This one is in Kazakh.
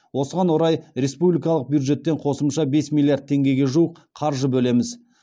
осыған орай республикалық бюджеттен қосымша бес миллиард теңгеге жуық қаржы бөлеміз